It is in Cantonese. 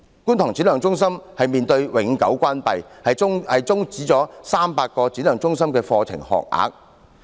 觀塘展亮中心面臨永久關閉，將會終止300個展亮中心課程學額。